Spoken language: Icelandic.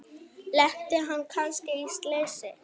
Lenti hann kannski í slysi?